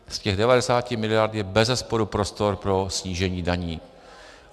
Z těch 90 miliard je bezesporu prostor pro snížení daní.